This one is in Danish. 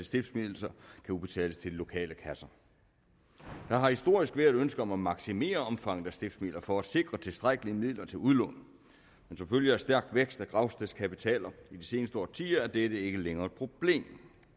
stiftsmidler kan udbetales til de lokale kasser der har historisk været et ønske om at maksimere omfanget af stiftsmidler for at sikre tilstrækkelige midler til udlån men som følge af stærk vækst af gravstedskapitaler i de seneste årtier er dette ikke længere et problem